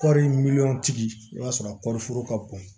Kɔɔri miliyɔn tigi i b'a sɔrɔ a kɔɔri foro ka bon